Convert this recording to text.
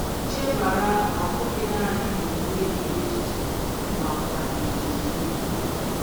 Chebara, ọ bụghị nanị omume gị echiche makwa ejiji gị.